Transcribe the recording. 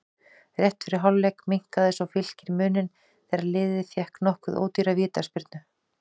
Rétt fyrir hálfleik minnkaði svo Fylkir muninn þegar liðið fékk nokkuð ódýra vítaspyrnu.